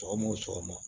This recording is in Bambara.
Sɔgɔma o sɔgɔma